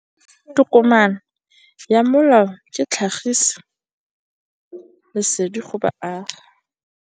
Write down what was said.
Tokomane ya molao ke tlhagisi lesedi go baagi.